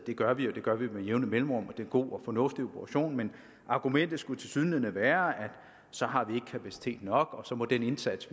vi gør det gør vi med jævne mellemrum og det god og fornuftig operation men argumentet skulle tilsyneladende være at så har vi ikke kapacitet nok og så må den indsats